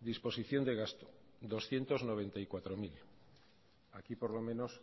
disposición de gasto doscientos noventa y cuatro mil aquí por lo menos